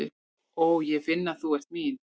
Ó, ég finn að þú ert mín.